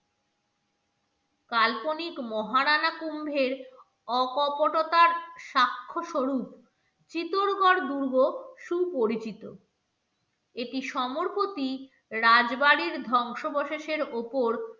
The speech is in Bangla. কাল্পনিক মহারানা কুম্ভের অকপটতার সাক্ষ্য স্বরূপ চিতরগড় দুর্গ সুপরিচিত এটি সমর্পতি রাজবাড়ির ধ্বংসাবশেষের ওপর